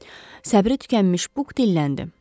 Səbri tükənmiş Buq dilləndi.